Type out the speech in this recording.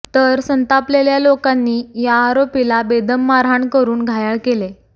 तर संतापलेल्या लोकांना या आरोपीला बेदम मारहान करुन घायाळ केले